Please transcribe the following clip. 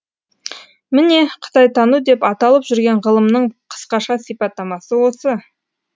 міне қытайтану деп аталып жүрген ғылымның қысқаша сипаттамасы осы